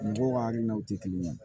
Mɔgɔw hakilinaw tɛ kelen ye